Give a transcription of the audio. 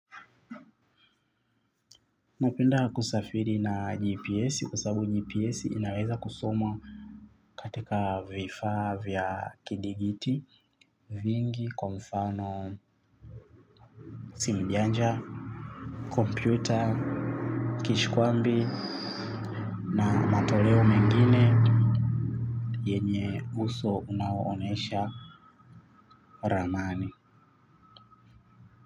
Napenda kusafiri na gps kwasabu gps inaweza kusoma. Katika vifaa vya kidigiti vingi kwamfano Simbianja Computer Kishkwambi Na matoleo mengine yenye uso unaoonesha ramani.